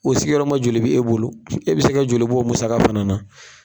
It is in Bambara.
O sigiyɔrɔ ma joli bi e bolo, e bi se ka joli bɔ, o musaka fana na ?